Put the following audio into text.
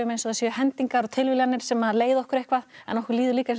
það séu hendingar og tilviljanir sem leiða okkur eitthvað en okkur líður líka eins og sé